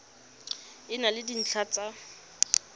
e na le dintlha tsa